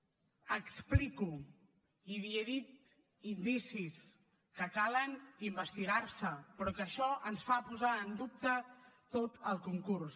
ho explico i li he dit indicis que calen investigar se però que això ens fa posar en dubte tot el concurs